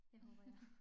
Det håber jeg